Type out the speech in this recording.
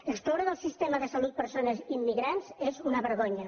excloure del sistema de salut persones immigrants és una vergonya